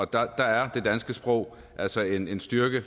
der er det danske sprog altså en en styrke